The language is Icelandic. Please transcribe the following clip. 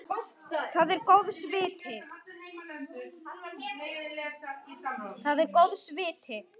Það er góðs viti.